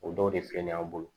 O dɔw de filɛ nin ye an bolo